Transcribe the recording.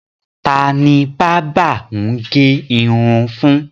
Ta ni bábà ń gẹ irun fún?